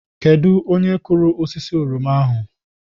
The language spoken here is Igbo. Kedu onye kụrụ osisi oroma ahụ?